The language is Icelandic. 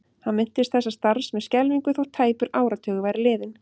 Hann minntist þessa starfs með skelfingu þótt tæpur áratugur væri liðinn.